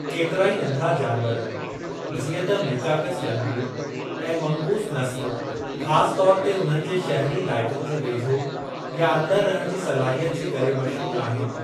केतिराई नंढिड़ा जानवर जिअं त मीकाकस लंगूरु ऐं मंगूस नस्लु ख़ासि तौर ते उन्हनि जे शहिरी इलाइक़नि जे वेझो या अंदरि रहण जी सलाहियत जे करे मशहूरु आहिनि।